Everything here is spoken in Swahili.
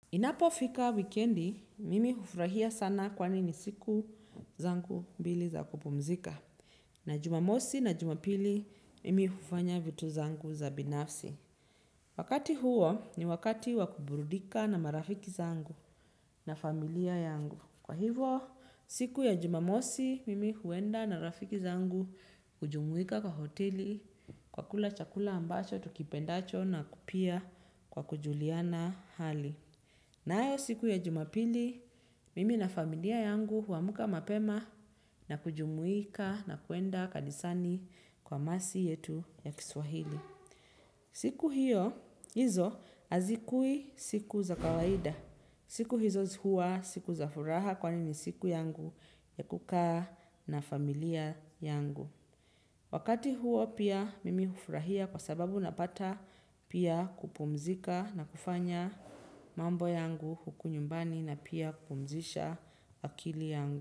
Inapofika wikendi, mimi hufurahia sana kwani ni siku zangu mbili za kupumzika. Na jumamosi na jumapili, mimi hufanya vitu zangu za binafsi. Wakati huo ni wakati wa kuburudika na marafiki zangu na familia yangu. Kwa hivo, siku ya jumamosi, mimi huenda na rafiki zangu hujumuika kwa hoteli, kwa kula chakula ambacho, tukipendacho na pia kwa kujuliana hali. Nayo siku ya jumapili, mimi na familia yangu huamka mapema na kujumuika na kuenda kanisani kwa masi yetu ya kiswahili. Siku hiyo hizo hazikui siku za kawaida. Siku hizo huwa siku za furaha kwani ni siku yangu ya kukaa na familia yangu. Wakati huo pia mimi hufurahia kwa sababu napata pia kupumzika na kufanya mambo yangu huku nyumbani na pia kupumzisha akili yangu.